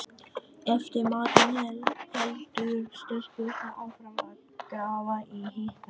Eftir matinn héldu stelpurnar áfram að grafa í hitanum.